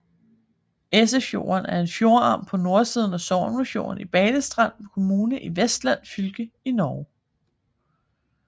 Esefjorden er en fjordarm på nordsiden af Sognefjorden i Balestrand kommune i Vestland fylke i Norge